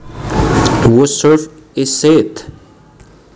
Whose serve is it